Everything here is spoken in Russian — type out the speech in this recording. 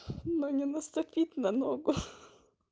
да не наступить на ногу